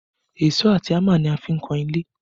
Èṣó àti hámà ni a fi ń kan ilé